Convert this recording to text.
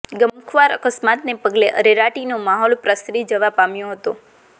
ગમખ્વાર અકસ્માતને પગલે અરેરાટીનો માહોલ પ્રસરી જવા પામ્યો હતો